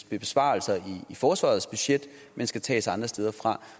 besparelser i forsvarets budget men skal tages andre steder fra